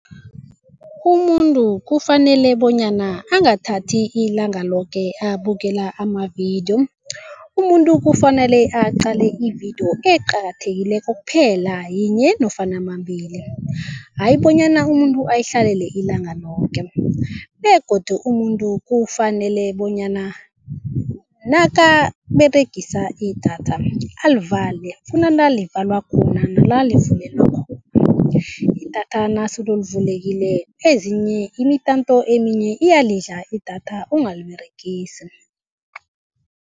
Umuntu kufanele bonyana angathathi ilanga loke abukela amavidiyo. Umuntu kufanele aqale ividiyo eqakathekileko kuphela yinye nofana nambili hayi bonyana umuntu oyihlalele ilanga loke begodu umuntu kufanele bonyana nakaberegisa idatha alivale kunala livalwa khona nala livulelwa khona. Idatha nasolo livulekile ezinye imitanto eminye iyalidla idatha ungaliberegisi.